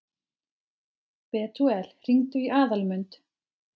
Betúel, hringdu í Aðalmund.